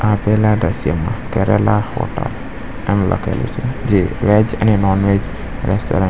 આપેલા દ્રશ્યમાં કરેલા હોટલ એમ લખેલું છે જે વેજ અને નોનવેજ રેસ્ટોરન્ટ --